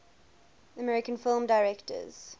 american film directors